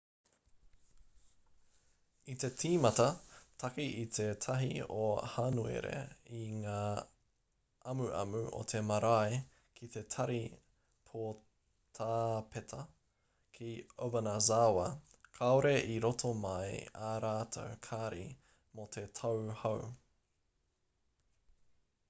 i tīmata take i te 1 o hānuere i ngā amuamu a te marea ki te tari poutāpeta ki obanazawa kāore i rito mai ā rātou kāri mō te tau hou